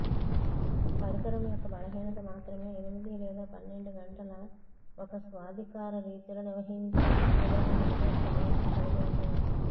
పరికరం యొక్క బలహీనత మాత్రమే ఎనిమిది లేదా పన్నెండు గంటల ఒక స్వాధికార రీతిలో నిర్వహించే సామర్థ్యం కలిగివుంటుంది